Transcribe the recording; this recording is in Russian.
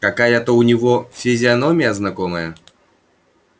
какая-то у него физиономия знакомая